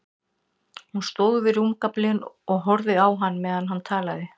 Hún stóð við rúmgaflinn og horfði á hann meðan hann talaði.